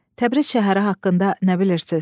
Təbriz şəhəri haqqında nə bilirsiz?